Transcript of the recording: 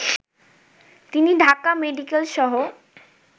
তিনি ঢাকা মেডিকেলসহ